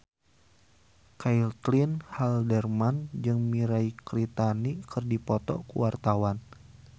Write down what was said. Caitlin Halderman jeung Mirei Kiritani keur dipoto ku wartawan